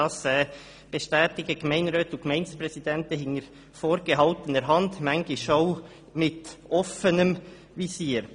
Das bestätigen Gemeinderäte und Gemeindepräsidenten hinter vorgehaltener Hand und manchmal auch mit offenem Visier.